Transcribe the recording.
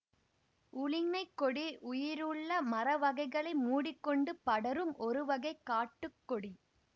உழிஞைக் கொடி உயிருள்ள மரவகைகளை மூடி கொண்டு படரும் ஒருவகை காட்டுக்கொடி